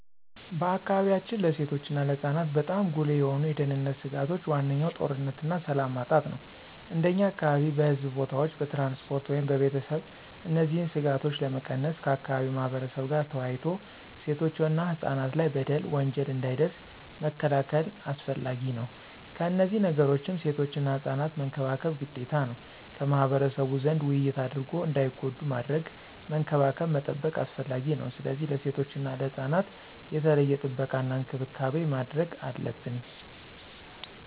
በአካባቢያችን ለሴቶች እና ለህፃናት በጣም ጉልህ የሆኑ የደህንነት ስጋቶች ዋነኛው ጦርነትና ሰላም ማጣት ነው። እንደኛ አካባቢ በሕዝብ ቦታዎች፣ በትራንስፖርት ወይም በቤተሰብ እነዚህን ስጋቶች ለመቀነስ ከአካባቢው ማህበረብ ጋር ተወያይቶ ሴቶችና ህፃናት ላይ በደል፣ ወንጀል እንዳይደርስ መከላከል አስፈላጊ ነው። ከነዚህ ነገሮችም ሴቶችና ህፃናት መንከባከብ ግዴታ ነው። ከማህበረሰቡ ዘንድ ውይይት አድርጎ እንዳይጎዱ ማድረግ፣ መንከባከብ መጠበቅ አስፈላጊ ነው። ስለዚህ ለሴቶችና ህፃናት የተለየ ጥበቃና እንክብካቤ ማድረግ አለብን።